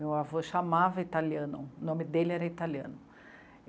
Meu avô chamava italiano, o nome dele era italiano.